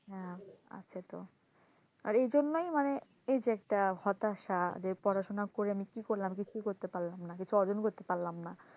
হ্যাঁ, আছে তো আর এই জন্যই মানে এই যে একটা হতাশা যে পড়াশোনা করে কি করলাম কিছুই করতে পারলাম না কিছু অর্জন করতে পারলাম না,